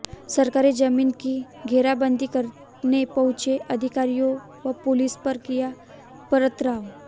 सरकारी जमीन की घेराबंदी कराने पहुंचे अधिकारियों व पुलिस पर किया पथराव